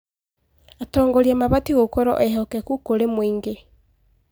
Atongoria mabatiĩ gũkorwo ehokeku kũrĩ mũingĩ.